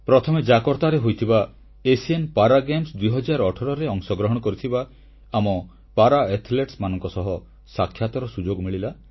ପ୍ରଥମେ ଜାକର୍ତ୍ତାରେ ହୋଇଥିବା ଏସୀୟ ପାରା ଗେମ୍ସ 2018ରେ ଅଂଶଗ୍ରହଣ କରିଥିବା ଆମ ପାରା ଆଥଲେଟମାନଙ୍କ ସହ ସାକ୍ଷାତର ସୁଯୋଗ ମିଳିଲା